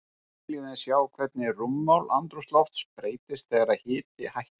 Nú viljum við sjá hvernig rúmmál andrúmsloft breytist þegar hiti hækkar.